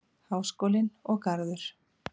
Háskólinn og Garður.